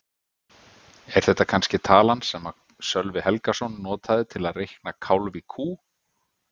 Er þetta kannske talan sem Sölvi Helgason notaði til að reikna kálf í kú?